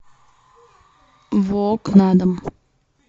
вок на дом